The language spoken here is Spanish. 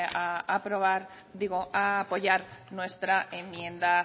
a apoyar nuestra enmienda